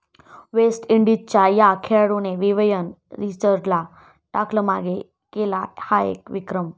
waste इंडीजच्या या खेळाडूने विवियन रिचर्डसला टाकलं मागे, केला हा विक्रम